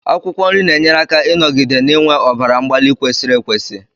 Akwụkwọ nri na-enyere aka ịnọgide n'iwe ọbara mgbali kwesiri ekwesi